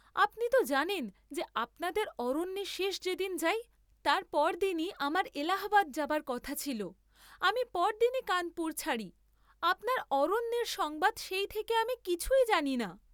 আপনি ত জানেন যে আপনাদের অরণ্যে শেষ যে দিন যাই, তার পরদিনই আমার এলাহাবাদ যাবার কথা ছিল, আমি পরদিনই কানপুর ছাড়ি, আপনার অরণ্যের সংবাদ সেই থেকে আমি কিছুই জানি না।